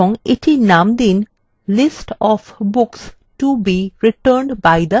এবং এটির নাম দিন list of books to be returned by the member